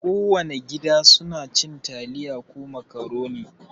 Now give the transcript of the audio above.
Kowana gida suna cin taliya ko makaroni.